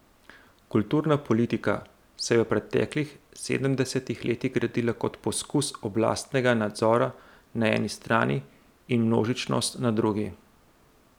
Kulturna politika se je v preteklih sedemdesetih letih gradila kot poskus oblastnega nadzora na eni strani in množičnosti na drugi.